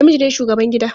Namiji ne shugaban gida.